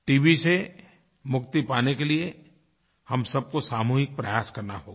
TB से मुक्ति पाने के लिए हम सबको सामूहिक प्रयास करना होगा